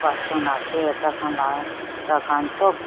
student ase tah khan lah tah khan sab--